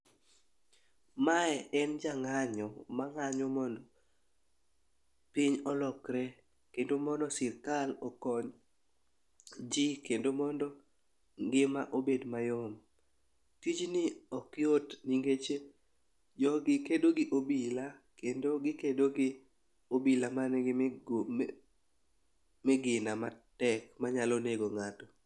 Mae en jang'anyo mang'anyo mondo piny olokre kendo mondo sirkal okony ji kendo mondo ngima obed mayom. Tijni ok yot nikech jogi kedo gi obila, kendo gikedo gi obila ma nigi migina matek manyalo nego ng'ato.